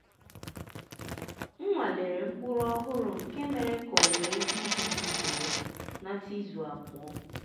m nwalere mkpụrụ ọhụrụ nke mere ka owuwe ihe ubi dị bee nata izu abụọ.